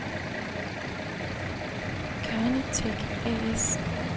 Carnitech A/S